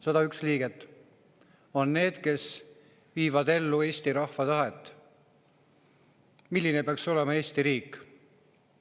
101 liiget on need, kes viivad ellu Eesti rahva tahet, milline peaks olema Eesti riik.